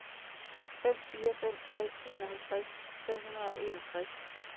fem fire fem tre enoghalvtreds fem hundrede og enogtres